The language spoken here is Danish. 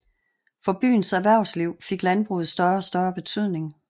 For byens erhvervsliv fik landbruget større og større betydning